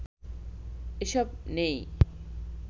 এসব নেই